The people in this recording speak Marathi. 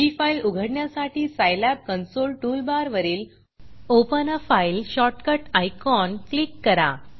ही फाईल उघडण्यासाठी scilabसाईलॅब कन्सोल टूलबारवरील open a file shortcut open a file shortcut icon click करा